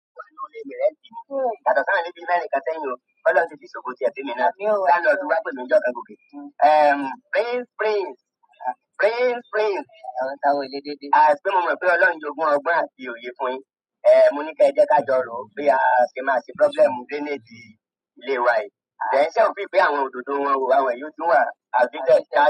Prince Prince Prince Prince, àwelede de, as pé mo mọ̀ pé Ọlọ́run jogún ọgbọ́n àti òye fún un yín ẹ. Ehn, mo ní kí ẹ jẹ́ ká jọ ròó bí a ṣe máa ṣe problem drainage ilé wa yìí. Then ṣé ẹ ò feel pé àwọn òdòdó wọn wò, wà wọn yí ó ti ń wà, outdated kí á.